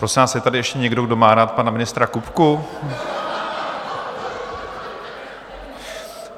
Prosím vás, je tady ještě někdo, kdo má rád pana ministra Kupku?